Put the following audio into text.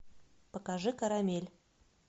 покажи карамель